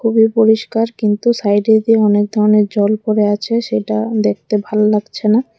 খুবই পরিস্কার কিন্তু সাইডে দিয়ে অনেকধরণের জল পরে আছে সেটা দেখতে ভাল লাগছেনা।